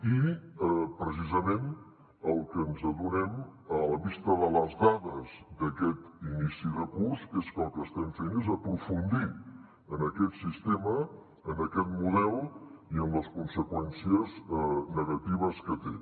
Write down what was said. i precisament del que ens adonem a la vista de les dades d’aquest inici de curs és que el que estem fent és aprofundir en aquest sistema en aquest model i en les conseqüències negatives que té